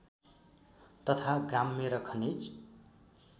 तथा ग्राम्य र खनिज